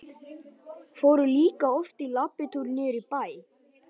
Fóru líka oft í labbitúr niður í bæ.